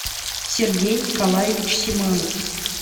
сергей николаевич симанов